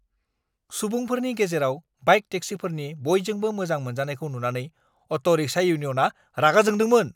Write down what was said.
सुबुंफोरनि गेजेराव बाइक टेक्सिफोरनि बयजोंबो मोजां मोनजानायखौ नुनानै अट'-रिक्शा इउनियनआ रागा जोंदोंमोन।